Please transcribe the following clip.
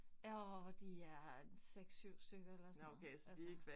Åh de er en 6 7 stykker eller sådan noget altså